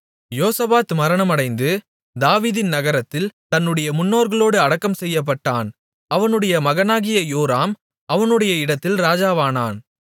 யோசபாத் மரணமடைந்து தாவீதின் நகரத்தில் தன்னுடைய முன்னோர்களோடு அடக்கம் செய்யப்பட்டான் அவனுடைய மகனாகிய யோராம் அவனுடைய இடத்தில் ராஜாவானான்